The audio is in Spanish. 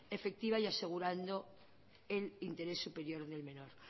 ejecutiva y asegurando el interés superior del menor